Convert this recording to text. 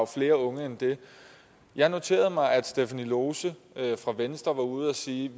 flere unge end det jeg noterede mig at stephanie lose fra venstre var ude at sige